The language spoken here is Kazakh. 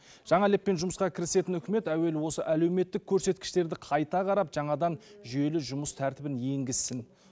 жаңа леппен жұмысқа кірісетін үкімет әуелі осы әлеуметтік көрсеткіштерді қайта қарап жаңадан жүйелі жұмыс тәртібін енгізсін